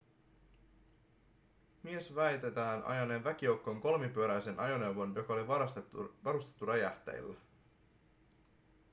mies väitetään ajaneen väkijoukkoon kolmipyöräisen ajoneuvon joka oli varustettu räjähteillä